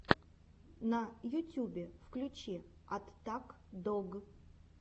на ютюбе включи аттак дог